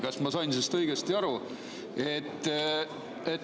Kas ma sain sellest õigesti aru?